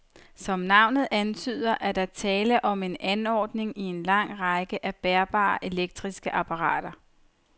Som navnet antyder, er der tale om en anordning i en lang række af bærbare elektriske apparater.